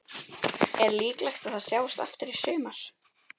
Er líklegt að það sjáist aftur í sumar?